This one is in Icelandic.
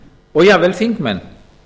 og jafnvel þingmenn